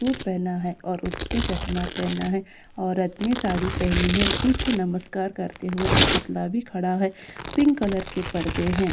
Suit पेहना है और उसने चश्मा पेहना है औरत ने साड़ी पहनी है पीछे नमस्कार करते हुए एक पतला भी खड़ा है पिंक कलर के पर्दे हैं।